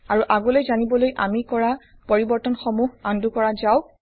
আৰু আগলৈ জানিবলৈ আমি কৰা পৰিবৰ্তনসমূহ আন্ডু কৰা যাওঁক